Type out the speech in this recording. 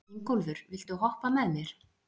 Ingólfur, viltu hoppa með mér?